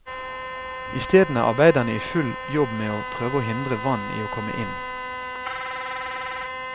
Isteden er arbeiderne i full jobb med å prøve å hindre vann i å komme inn.